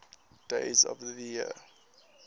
days of the year